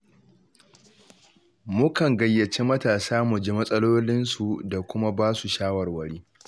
Mukan gayyaci matasa, mu ji matsalolinsu da kuma ba su shawarwari